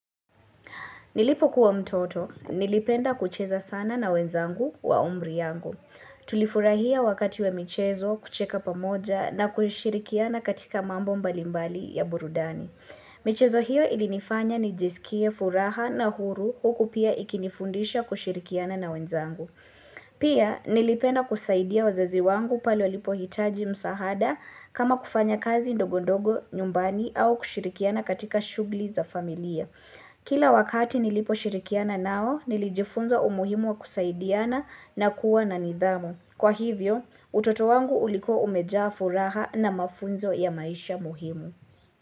Nilipo kuwa mtoto, nilipenda kucheza sana na wenzangu wa umri yangu. Tulifurahia wakati wa michezo kucheka pamoja na kushirikiana katika mambo mbalimbali ya burudani. Michezo hiyo ilinifanya nijisikie furaha na huru huku pia ikinifundisha kushirikiana na wenzangu. Pia nilipenda kusaidia wazazi wangu pale walipohitaji msaada kama kufanya kazi ndogondogo nyumbani au kushirikiana katika shughuli za familia. Kila wakati niliposhirikiana nao nilijifunza umuhimu wa kusaidiana na kuwa na nidhamu. Kwa hivyo utoto wangu ulikuwa umejaa furaha na mafunzo ya maisha muhimu.